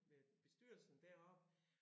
Med bestyrelsen deroppe